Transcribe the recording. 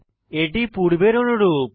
এটি পূর্বের অনুরূপ